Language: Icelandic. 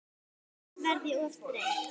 Annars verð ég of þreytt.